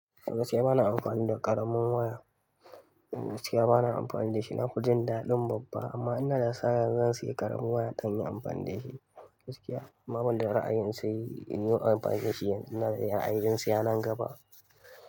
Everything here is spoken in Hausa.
Gaskiya bana amfani da ƙaramin waya. Gaskiya bana amfani da shi nafi jin daɗin babba amma ina da sa'a zan sayi ƙaramin waya don in yi amfani da shi gaskiya. Amma ban da ra'ayin sayi in yi amfani da shi yanzu ina da ra'ayin siya nan gaba.